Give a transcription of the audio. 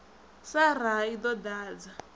sa raha i ḓo ḓadza